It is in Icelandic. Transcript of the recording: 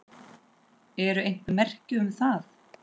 Eru einhver merki um það?